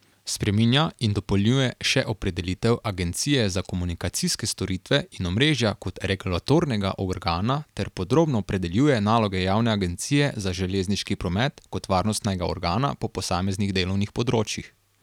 Spreminja in dopolnjuje še opredelitev agencije za komunikacijske storitve in omrežja kot regulatornega organa ter podrobno opredeljuje naloge javne agencije za železniški promet kot varnostnega organa po posameznih delovnih področjih.